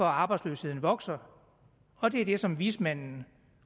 arbejdsløsheden vokser og det er det som vismændene